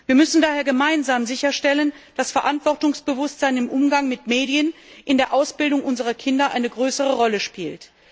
Wir müssen daher gemeinsam sicherstellen, dass Verantwortungsbewusstsein im Umgang mit Medien in der Ausbildung unserer Kinder eine größere Rolle spielt.